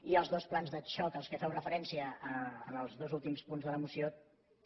i els dos plans de xoc a què feu referència en els dos últims punts de la moció també